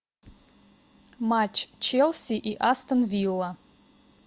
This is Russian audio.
матч челси и астон вилла